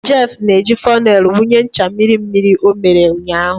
Jeff na-eji fonel wụnye ncha mmiri mmiri ọ mere ụnyaahụ.